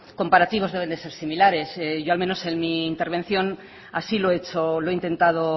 comparativos deben ser similares yo al menos en mi intervención así lo hecho o lo he intentado